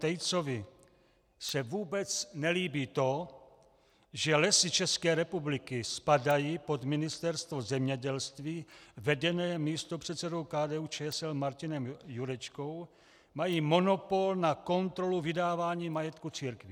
Tejcovi se vůbec nelíbí to, že Lesy České republiky spadají pod Ministerstvo zemědělství vedené místopředsedou KDU-ČSL Marianem Jurečkou, mají monopol na kontrolu vydávání majetku církvím.